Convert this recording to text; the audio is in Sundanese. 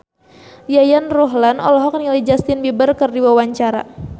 Yayan Ruhlan olohok ningali Justin Beiber keur diwawancara